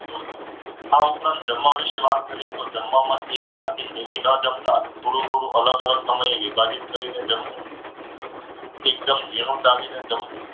આ ઉપરાંત જમવા વિશે વાત કરીએ તો જમવામાં એક સાથે ન જમતા, થોડું થોડું અલગ અલગ સમયે વિભાજિત કરી ને જમવું. એકદમ ઝીણું ચાવીને જમવું.